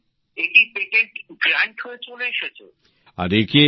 এবছর এটি পেটেন্ট অনুমোদনও পেয়েছে